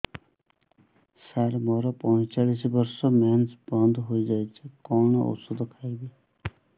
ସାର ମୋର ପଞ୍ଚଚାଳିଶି ବର୍ଷ ମେନ୍ସେସ ବନ୍ଦ ହେଇଯାଇଛି କଣ ଓଷଦ ଖାଇବି